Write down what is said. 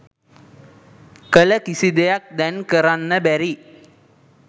කළ කිසි දෙයක් දැන් කරන්න බැරි.